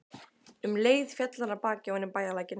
Um leið féll hann af baki ofan í bæjarlækinn.